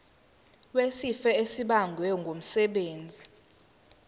wesifo esibagwe ngumsebenzi